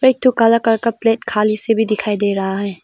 एक ठो काला कलर का प्लेट खाली से भी दिखाई दे रहा है।